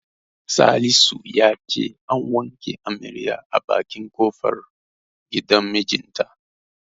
Salisu ya ce an wanke amaryar a bakin kofar gidan mijinta.